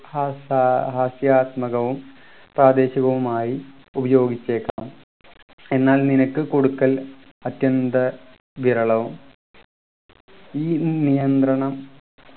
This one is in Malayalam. ഹാസ ഹാസ്യാത്മകവും പ്രാദേശികവുമായി ഉപയോഗിച്ചേക്കാം എന്നാൽ നിനക്ക് കൊടുക്കൽ അത്യന്തം വിരളവും ഈ നിയന്ത്രണം